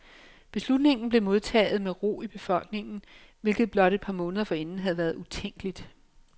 Beslutningen blev modtaget med ro i befolkningen, hvilket blot et par måneder forinden havde været utænkeligt.